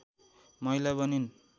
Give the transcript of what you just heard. महिला बनिन्